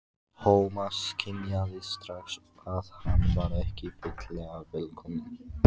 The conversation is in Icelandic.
Thomas skynjaði strax að hann var ekki fyllilega velkominn.